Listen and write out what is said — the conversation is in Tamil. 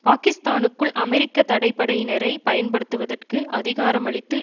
பாகிஸ்தானுக்குள் அமெரிக்க தடை படையினரை பயன்படுத்துவதற்கு அதிகாரமளித்து